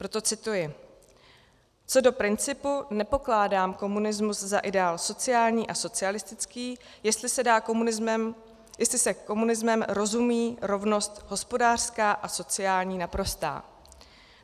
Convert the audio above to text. Proto cituji: "Co do principu, nepokládám komunism za ideál sociální a socialistický, jestli se komunismem rozumí rovnost hospodářská a sociální naprostá.